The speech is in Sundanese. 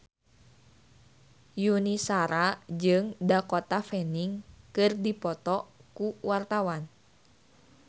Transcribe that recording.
Yuni Shara jeung Dakota Fanning keur dipoto ku wartawan